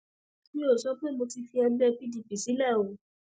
mi ò sọ pé mo ti fi ẹgbẹ pdp sílẹ o